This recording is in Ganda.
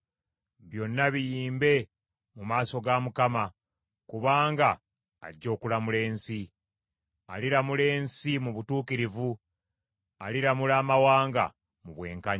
byonna biyimbe mu maaso ga Mukama , kubanga ajja okulamula ensi. Aliramula ensi mu butuukirivu; aliramula amawanga mu bwenkanya.